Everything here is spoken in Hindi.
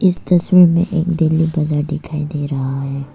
इस तस्वीर में एक दिल्ली बाजार दिखाई दे रहा है।